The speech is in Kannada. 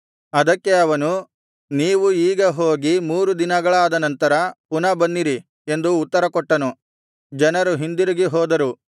ಅದಕ್ಕೆ ಅವನು ನೀವು ಈಗ ಹೋಗಿ ಮೂರು ದಿನಗಳಾದ ನಂತರ ಪುನಃ ಬನ್ನಿರಿ ಎಂದು ಉತ್ತರಕೊಟ್ಟನು ಜನರು ಹಿಂದಿರುಗಿ ಹೋದರು